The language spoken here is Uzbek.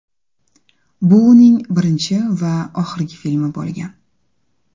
Bu uning birinchi va oxirgi filmi bo‘lgan.